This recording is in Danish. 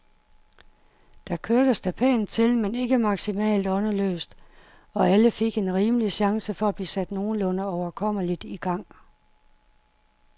Der kørtes da pænt til, men ikke maksimalt åndeløst, og alle fik en rimelig chance for at blive sat nogenlunde overkommeligt i gang.